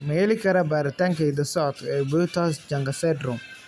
Ma la heli karaa baaritaanka hidda-socodka ee Peutz Jeghers syndrome?